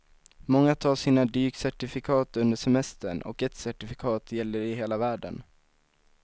Många tar sina dykcertifikat under semestern och ett certifikat gäller i hela världen.